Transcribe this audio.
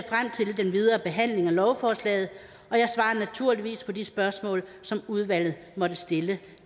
den videre behandling af lovforslaget og de spørgsmål som udvalget måtte stille